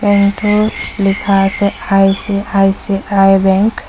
Bank টোত লিখা আছে আই_চি_আই_চি_আই বেংক ।